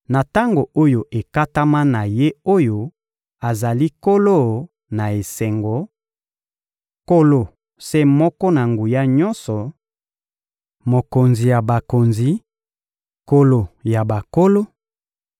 na tango oyo ekatama na Ye oyo azali Nkolo-Na-Esengo, Nkolo se moko na nguya nyonso, Mokonzi ya bakonzi, Nkolo ya bankolo,